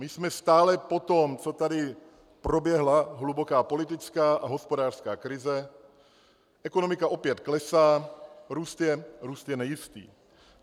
My jsme stále po tom, co tady proběhla hluboká politická a hospodářská krize, ekonomika opět klesá, růst je nejistý.